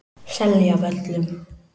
Seljavöllum